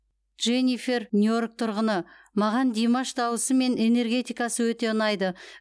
дженифер нью йорк тұрғыны маған димаш дауысы мен энергетикасы өте ұнайды